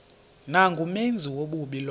nangumenzi wobubi lowo